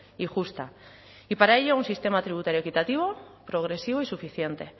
y justa y para ello un sistema tributario equitativo progresivo y suficiente